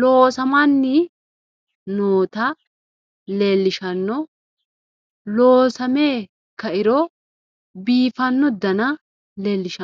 loosamanni noota leellishshanno ,loosame kairo biifanno dana leellishshanno.